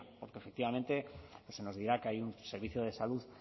porque efectivamente se nos dirá que hay un servicio de salud